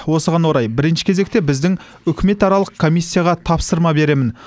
осыған орай бірінші кезекте біздің үкіметаралық комиссияға тапсырма беремін